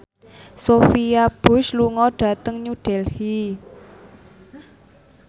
Sophia Bush lunga dhateng New Delhi